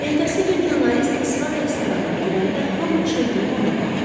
Ertəsi gün jurnalist ispan restoranına girəndə hamı çevrilib ona baxdı.